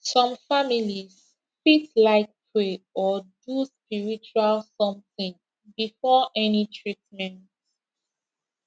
some families fit like pray or do spiritual something before any treatment